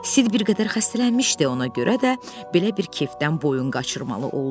Sid bir qədər xəstələnmişdi, ona görə də belə bir kefdən boyun qaçırmalı oldu.